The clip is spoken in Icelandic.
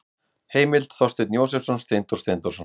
Heimild: Þorsteinn Jósepsson, Steindór Steindórsson.